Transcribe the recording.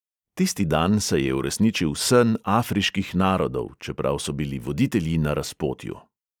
Tisti dan se je uresničil sen afriških narodov, čeprav so bili voditelji na razpotju.